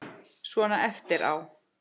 Svona eftir á.